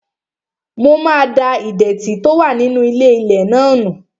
Mo máa da ìdẹ̀tì tó wà nínú ilé-ilẹ̀ náà nù